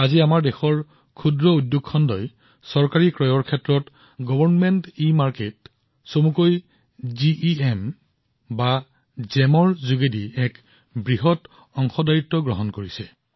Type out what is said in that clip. আজি আমাৰ ক্ষুদ্ৰ উদ্যোগীসকলে চৰকাৰী ইবজাৰৰ জিইএম জৰিয়তে চৰকাৰী ক্ৰয়ত এক বৃহৎ ভূমিকা পালন কৰি আছে